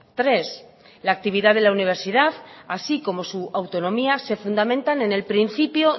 tres la actividad de la universidad así como su autonomía se fundamentan en el principio